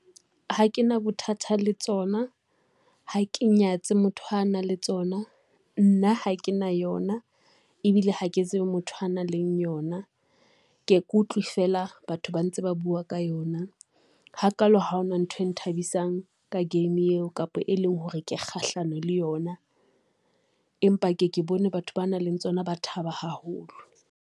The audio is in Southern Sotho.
Ha ke na bothata le tsona, ha ke nyatse motho a nang le tsona, nna ha ke na yona ebile ha ke tsebe motho a nang le yona. Ke ke utlwe feela batho ba ntse ba bua ka yona ha kalo ha hona ntho e nthabisang ka game eo kapa e leng hore ke kgahlano le yona, empa ke ke bone batho ba nang le tsona ba thaba haholo.